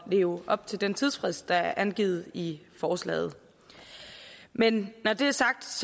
leve op til den tidsfrist der er angivet i forslaget men når det er sagt